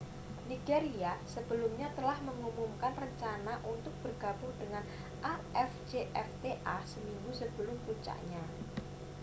nigeria sebelumnya telah mengumumkan rencana untuk bergabung dengan afcfta seminggu sebelum puncaknya